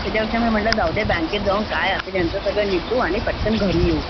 त्याच्यापेक्षा मी म्हटलं जाऊदे बँकेत जाऊन काय असेल ते ह्यांचं मिठू आणि पटकन घरी येऊ